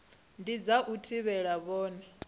ndi dza u thivhela vhone